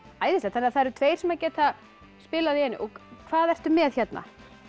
æðislegt þannig að það eru tveir sem að geta spilað í einu hvað ertu með hérna